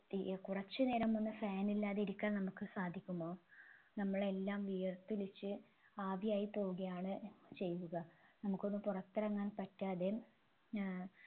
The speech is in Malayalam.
തീരെ കുറച്ച് നേരമൊന്നു fan ഇല്ലാതെ ഇരിക്കാൻ നമ്മുക്ക് സാധിക്കുമോ നമ്മളെല്ലാം വിയർത്തൊലിച്ച് ആവിയായി പോവുകയാണ് ചെയ്തത് നമുക്കൊന്നു പുറത്തിറങ്ങാൻ പറ്റാതെ ഏർ